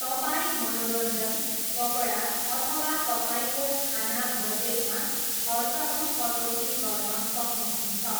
तपाईँ मनोरञ्जन, कपडा, अथवा तपाईँको खाना बजेटमा खर्चहरू कटौती गर्न सक्नुहुन्छ।